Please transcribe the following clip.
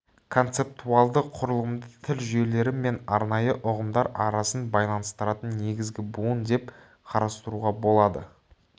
концептуалды құрылымды тіл жүйелері мен арнайы ұғымдар арасын байланыстыратын негізгі буын деп қарастыруға болады